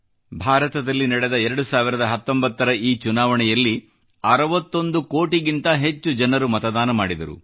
ಭಾರತದಲ್ಲಿ ನಡೆದ 2019 ರ ಚುನಾವಣೆಯಲ್ಲಿ 61 ಕೋಟಿ ಜನರು ಮತದಾನ ಮಾಡಿದರು